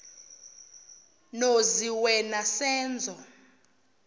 nozi wena senzo